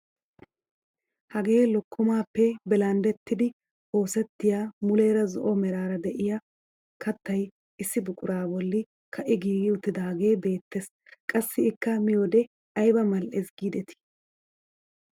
Hagee lokkomaappe bilanddettidi oosettiyaa mulera zo'o meraara de'iyaa kattay issi buquraa bolli ka'i giigi uttidaagee beettees. qassi ikka miyoode ayba mal"ees gidetii!